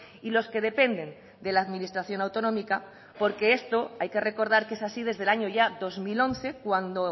y los que dependen de la administración autonómica porque esto hay que recordar que es así desde el año ya dos mil once cuando